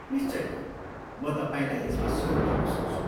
निश्चय नै, म तपाईँलाई यसमा सहयोग गर्न सक्छु।